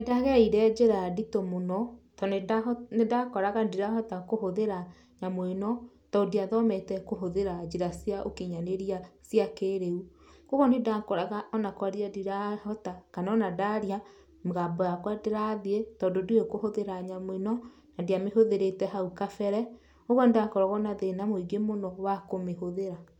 Nĩndagereire njĩra nditũ mũno to nĩndakoraga ndirahota kũhũthĩra nyamũ ĩno to ndiathomete kũhũthĩra njĩra cia ũkinyanĩria cia kĩriu. Kwogwo nĩndakoraga ona kwaria ndirahota, kana ona ndaria mũgambo wakwa ndũrathiĩ, tondũ ndiũĩ kũhũthĩra nyamũ ĩno, na ndiamĩhũthĩrĩte hau kabere, ũguo nĩndakoragwo na thĩna mũingĩ mũno wa kũmĩhũthĩra.